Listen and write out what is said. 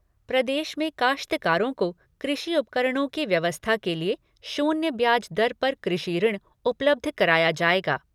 प्रदेश में काश्तकारों को कृषि उपकरणों की व्यवस्था के लिए शून्य ब्याज दर पर कृषि ऋण उपलब्ध कराया जाएगा।